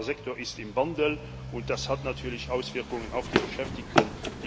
Dieser Sektor ist im Wandel und das hat natürlich Auswirkungen auf die Beschäftigten.